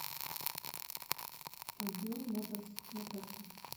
альбион моторс на карте